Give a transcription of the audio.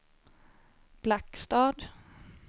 Blackstad